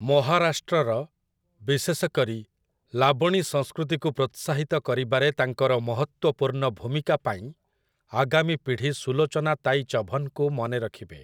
ମହାରାଷ୍ଟ୍ରର, ବିଶେଷ କରି, ଲାବଣୀ ସଂସ୍କୃତିକୁ ପ୍ରୋତ୍ସାହିତ କରିବାରେ ତାଙ୍କର ମହତ୍ୱପୂର୍ଣ୍ଣ ଭୂମିକା ପାଇଁ ଆଗାମୀ ପୀଢ଼ି ସୁଲୋଚନା ତାଇ ଚଭନ୍‌ଙ୍କୁ ମନେ ରଖିବେ ।